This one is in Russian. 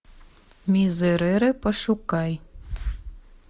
мизерере пошукай